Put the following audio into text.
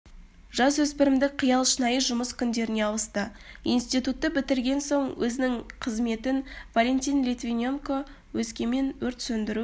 жасөспірімдік қиял шынайы жұмыс күндеріне ауысты институтты бітірген соң өзінің қызметін валентин литвиненко өскемен өрт сөндіру